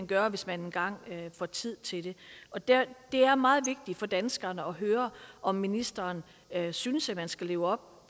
gøre hvis man engang får tid til det det er er meget vigtigt for danskerne at høre om ministeren synes at man skal leve op